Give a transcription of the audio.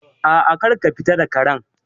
A'a, kar ka fita da Karen